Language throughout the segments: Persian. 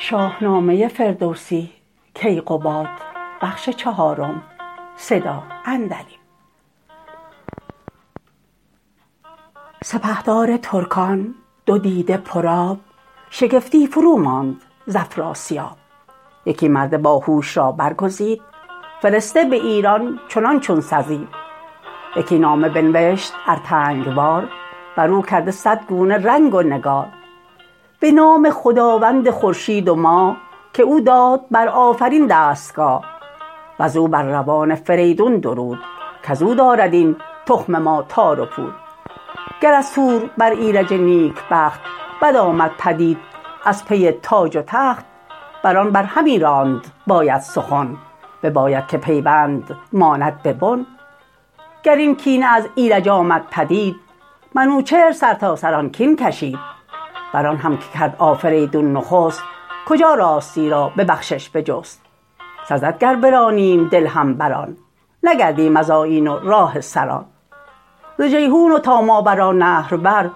سپهدار ترکان دو دیده پرآب شگفتی فرو ماند ز افراسیاب یکی مرد با هوش را برگزید فرسته به ایران چنان چون سزید یکی نامه بنوشت ارتنگ وار برو کرده صد گونه رنگ و نگار به نام خداوند خورشید و ماه که او داد بر آفرین دستگاه وزو بر روان فریدون درود کزو دارد این تخم ما تار و پود گر از تور بر ایرج نیک بخت بد آمد پدید از پی تاج و تخت بران بر همی راند باید سخن بباید که پیوند ماند به بن گر این کینه از ایرج آمد پدید منوچهر سرتاسر آن کین کشید بران هم که کرد آفریدون نخست کجا راستی را به بخشش بجست سزد گر برانیم دل هم بران نگردیم از آیین و راه سران ز جیحون و تا ماورالنهر بر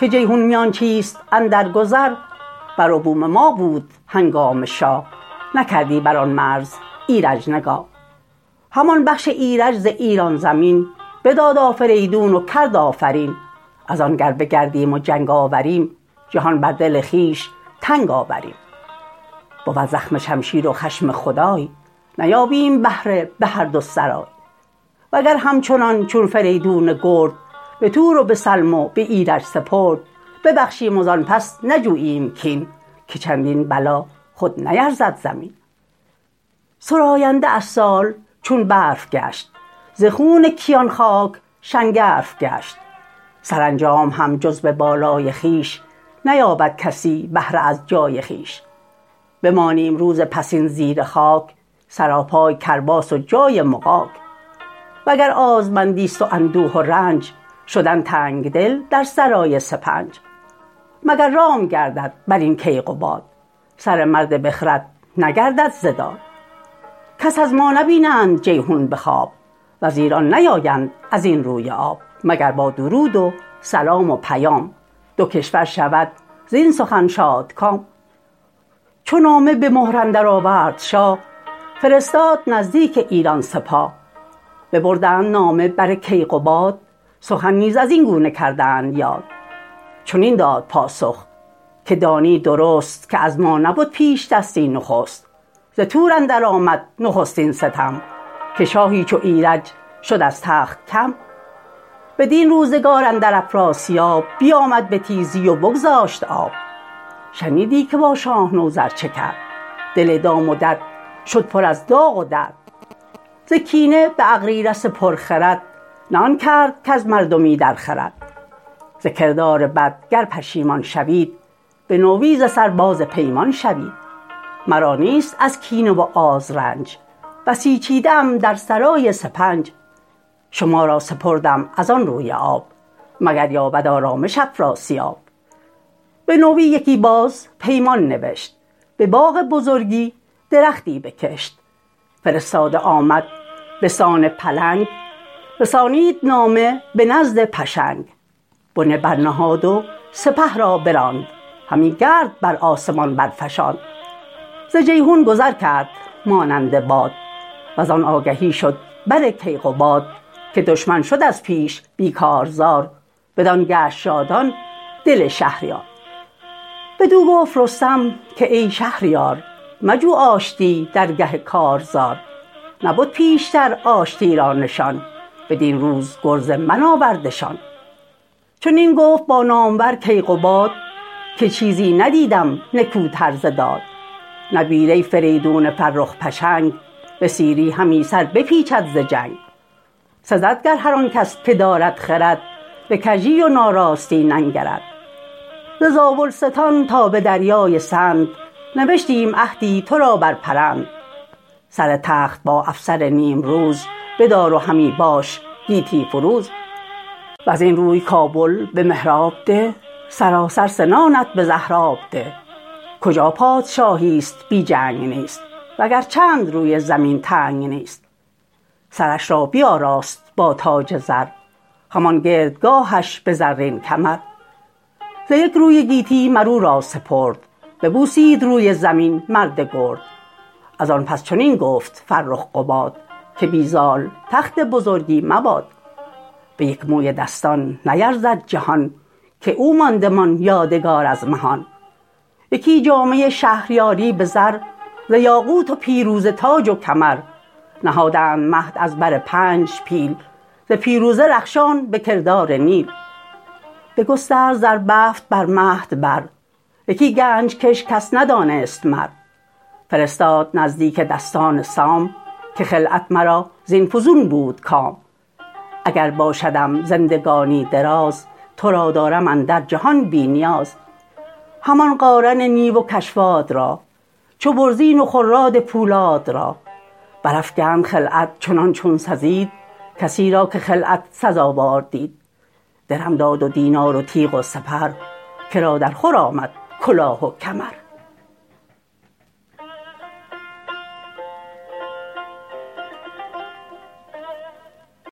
که جیحون میانچیست اندر گذر بر و بوم ما بود هنگام شاه نکردی بران مرز ایرج نگاه همان بخش ایرج ز ایران زمین بداد آفریدون و کرد آفرین ازان گر بگردیم و جنگ آوریم جهان بر دل خویش تنگ آوریم بود زخم شمشیر و خشم خدای نیابیم بهره به هر دو سرای و گر همچنان چون فریدون گرد به تور و به سلم و به ایرج سپرد ببخشیم و زان پس نجوییم کین که چندین بلا خود نیرزد زمین سراینده از سال چون برف گشت ز خون کیان خاک شنگرف گشت سرانجام هم جز به بالای خویش نیابد کسی بهره از جای خویش بمانیم روز پسین زیر خاک سراپای کرباس و جای مغاک و گر آزمندیست و اندوه و رنج شدن تنگ دل در سرای سپنج مگر رام گردد برین کیقباد سر مرد بخرد نگردد ز داد کس از ما نبینند جیحون بخواب وز ایران نیایند ازین روی آب مگر با درود و سلام و پیام دو کشور شود زین سخن شادکام چو نامه به مهر اندر آورد شاه فرستاد نزدیک ایران سپاه ببردند نامه بر کیقباد سخن نیز ازین گونه کردند یاد چنین داد پاسخ که دانی درست که از ما نبد پیشدستی نخست ز تور اندر آمد نخستین ستم که شاهی چو ایرج شد از تخت کم بدین روزگار اندر افراسیاب بیامد به تیزی و بگذاشت آب شنیدی که با شاه نوذر چه کرد دل دام و دد شد پر از داغ و درد ز کینه به اغریرث پرخرد نه آن کرد کز مردمی در خورد ز کردار بد گر پشیمان شوید بنوی ز سر باز پیمان شوید مرا نیست از کینه و آز رنج بسیچیده ام در سرای سپنج شما را سپردم ازان روی آب مگر یابد آرامش افراسیاب بنوی یکی باز پیمان نوشت به باغ بزرگی درختی بکشت فرستاده آمد بسان پلنگ رسانید نامه به نزد پشنگ بنه برنهاد و سپه را براند همی گرد بر آسمان برفشاند ز جیحون گذر کرد مانند باد وزان آگهی شد بر کیقباد که دشمن شد از پیش بی کارزار بدان گشت شادان دل شهریار بدو گفت رستم که ای شهریار مجو آشتی درگه کارزار نبد پیشتر آشتی را نشان بدین روز گرز من آوردشان چنین گفت با نامور کیقباد که چیزی ندیدم نکوتر ز داد نبیره فریدون فرخ پشنگ به سیری همی سر بپیچد ز جنگ سزد گر هر آنکس که دارد خرد بکژی و ناراستی ننگرد ز زاولستان تا بدریای سند نوشتیم عهدی ترا بر پرند سر تخت با افسر نیمروز بدار و همی باش گیتی فروز وزین روی کابل به مهراب ده سراسر سنانت به زهراب ده کجا پادشاهیست بی جنگ نیست وگر چند روی زمین تنگ نیست سرش را بیاراست با تاج زر همان گردگاهش به زرین کمر ز یک روی گیتی مرو را سپرد ببوسید روی زمین مرد گرد ازان پس چنین گفت فرخ قباد که بی زال تخت بزرگی مباد به یک موی دستان نیرزد جهان که او ماندمان یادگار از مهان یکی جامه شهریاری به زر ز یاقوت و پیروزه تاج و کمر نهادند مهد از بر پنج پیل ز پیروزه رخشان بکردار نیل بگسترد زر بفت بر مهد بر یکی گنج کش کس ندانست مر فرستاد نزدیک دستان سام که خلعت مرا زین فزون بود کام اگر باشدم زندگانی دراز ترا دارم اندر جهان بی نیاز همان قارن نیو و کشواد را چو برزین و خراد پولاد را برافگند خلعت چنان چون سزید کسی را که خلعت سزاوار دید درم داد و دینار و تیغ و سپر کرا در خور آمد کلاه و کمر